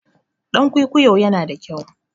Ɗan kwikwiyo yana da kyau.